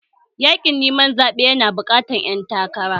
Yaƙin neman zaɓe yana haɓaka ƴan takara